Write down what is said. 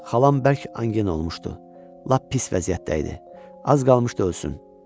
Xalam bərk angin olmuşdu, lap pis vəziyyətdə idi, az qalmışdı ölsün.